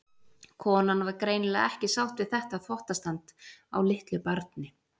Konan var greinilega ekki sátt við þetta þvottastand á litlu barni.